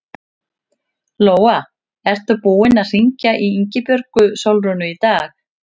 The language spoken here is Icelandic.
Lóa: Ert þú búinn að hringja í Ingibjörgu Sólrúnu í dag?